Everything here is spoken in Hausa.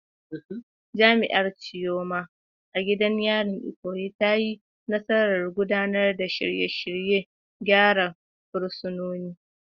Jami’ar Chioma, a gidan yarin Ikoyi, ta yi nasarar gudanar da shirye-shiryen gyara fursunonin.